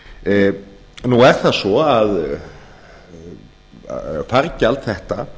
endurskoðuð nú er það svo að fargjald þetta